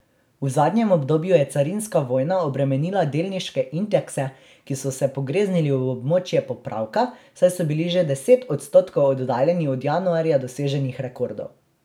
V zadnjem obdobju je carinska vojna obremenila delniške indekse, ki so se pogreznili v območje popravka, saj so bili že deset odstotkov oddaljeni od januarja doseženih rekordov.